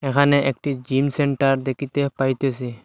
এহানে একটি gym centre দেখিতে পাইতেসি।